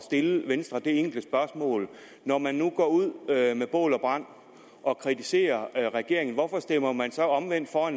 stille venstre det enkle spørgsmål når man nu går ud med bål og brand og kritiserer regeringen hvorfor stemmer man så omvendt for